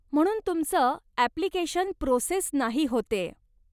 म्हणून तुमचं application process नाही होतेय.